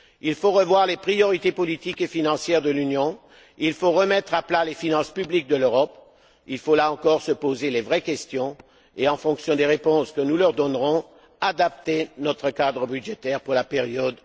Il faut revoir les priorités politiques et financières de l'Union, il faut remettre à plat les finances publiques de l'Europe, il faut là encore se poser les vraies questions et, en fonction des réponses que nous leur donnerons, adapter notre cadre budgétaire pour la période